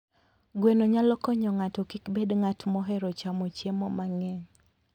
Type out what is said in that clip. Gweno nyalo konyo ng'ato kik bed ng'at mohero chamo chiemo mang'eny.